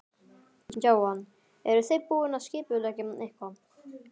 Jóhann: Eruð þið búin að skipuleggja eitthvað?